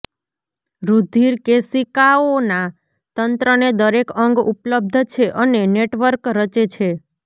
રુધિરકેશિકાઓના તંત્રને દરેક અંગ ઉપલબ્ધ છે અને નેટવર્ક રચે છે